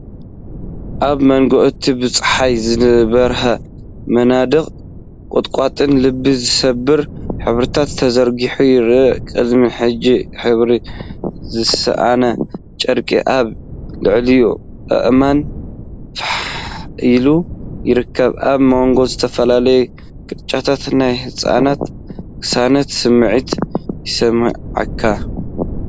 ኣብ መንጎ እቲ ብጸሓይ ዝበርህ መናድቕ፡ ቁጥቋጥ ልቢ ዝሰብር ሕብርታት ተዘርጊሑ ይረአ። ቅድሚ ሕጂ ሕብሩ ዝሰኣነ ጨርቂ ኣብ ልዕሊ ኣእማን ፋሕ ኢሉ ይርከብ። ኣብ ሞንጎ ዝተፈላለዩ ግርጭታት ናይ ህድኣትን ቅሳነትን ስምዒት ይስመዓካ።